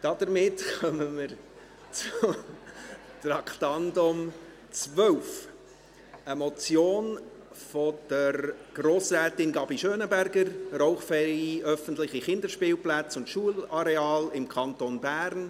Damit kommen wir zum Traktandum 12, einer Motion von Grossrätin Gabi Schönenberger: «Rauchfreie öffentliche Kinderspielplätze und Schulareale im Kanton Bern».